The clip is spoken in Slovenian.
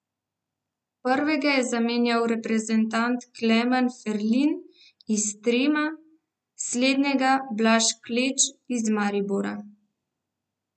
Prvega je zamenjal reprezentant Klemen Ferlin iz Trima, slednjega Blaž Kleč iz Maribora.